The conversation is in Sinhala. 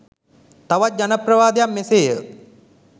තවත් ජනප්‍රවාදයක් මෙසේය.